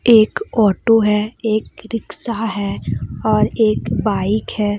एक ऑटो है एक रिक्शा है और एक बाइक है।